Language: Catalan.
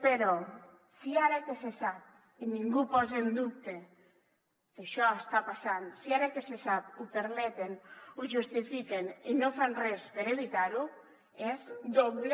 però si ara que se sap i ningú posa en dubte que això està passant ho permeten ho justifiquen i no fan res per evitar ho és doble